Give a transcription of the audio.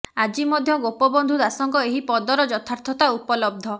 ଆଜି ମଧ୍ୟ ଗୋପବନ୍ଧୁ ଦାସଙ୍କ ଏହି ପଦର ଯଥାର୍ଥତା ଉପଲବ୍ଧ